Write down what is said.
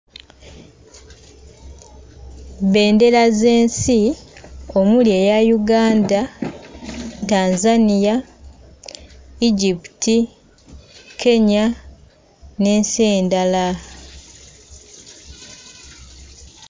Bbendera z'ensi, omuli eya Uganda, Tanzania, Egypt, Kenya n'ensi endala.